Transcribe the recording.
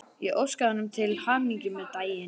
Ég óskaði honum til hamingju með daginn.